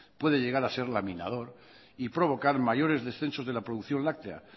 puede llegar a ser laminador y provocar mayores descensos de la producción láctea